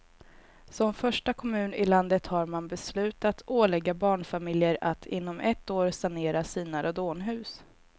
Som första kommun i landet har man beslutat ålägga barnfamiljer att inom ett år sanera sina radonhus.